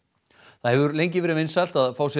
það hefur lengi verið vinsælt að fá sér